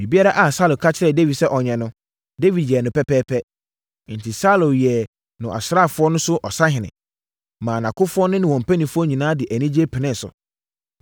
Biribiara a Saulo ka kyerɛɛ Dawid sɛ ɔnyɛ no, Dawid yɛɛ no pɛpɛɛpɛ. Enti, Saulo yɛɛ no nʼasraafoɔ so ɔsahene, maa nʼakofoɔ ne wɔn mpanimfoɔ nyinaa de anigyeɛ penee so.